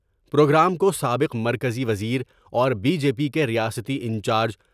Programme کو سابق مرکزی وزیر اور بی جے پی کے ریاستی انچارج ۔